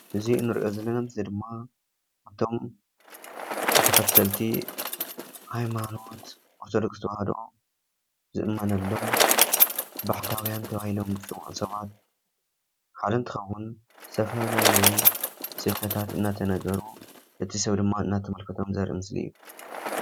እዚ እንሪኦ ዘለና ምስሊ ድማ ካብቶም ተኸተልቲ ሃይማኖት ኦርቶዶክስ ተዋህዶ ዝእመነሎም ባሕታውያን ተባሂሎም ዝፅውዑ ሰባት ሓደ እንትኸውን ዝተፈላለዩ ስብከታት እናተነገሩ እቲ ሰብ ድማ እናተመልከቶም ዘርኢ ምስሊ እዩ፡፡